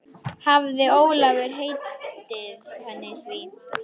Hafði Ólafur heitið henni því.